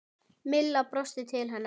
Milla brosti til hennar.